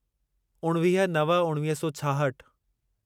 उणिवीह नव उणिवीह सौ छाहठि